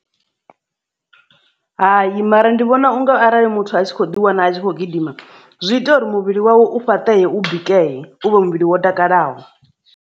Hayi mara ndi vhona unga arali muthu a tshi kho ḓi wana a tshi khou gidima zwi ita uri muvhili wawe u fhaṱeye u bikeye u vha muvhili wo takalaho.